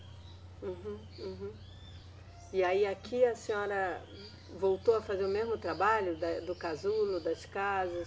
Uhum, uhum. E aí aqui a senhora voltou a fazer o mesmo trabalho da, do casulo, das casas,